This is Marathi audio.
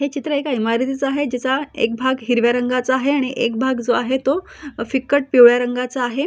हे चित्र एका इमारतीच आहे जीचा एक भाग हिरव्या रंगाचा आहे आणि एक भाग जो आहे तो फिकट पिवळ्या रंगाचा आहे.